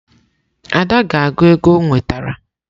Ada ga-agụ ego o nwetara.